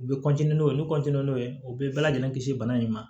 U bɛ n'o ye ni n'o ye u bɛ bɛɛ lajɛlen kisi bana in ma